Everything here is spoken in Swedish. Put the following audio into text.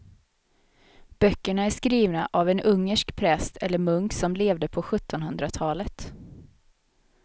Böckerna är skrivna av en ungersk präst eller munk som levde på sjuttonhundratalet.